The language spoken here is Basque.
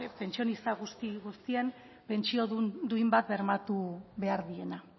pentsionista guztien pentsio duin bat bermatu behar diena